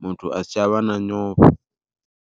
muthu asi tsha vha na nyofho.